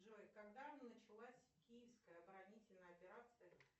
джой когда началась киевская оборонительная операция